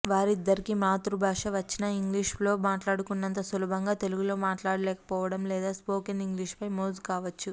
వారిద్దరికి మాతృభాష వచ్చినా ఇంగ్లిష్లో మాట్లాడుకున్నంత సులభంగా తెలుగులో మాట్లాడలేకపోవడం లేదా స్మోకన్ ఇంగ్లిష్పై మోజు కావచ్చు